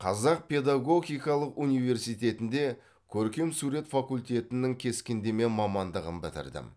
қазақ педагогикалық университетінде көркем сурет факультетінің кескіндеме мамандығын бітірдім